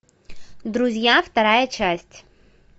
друзья вторая часть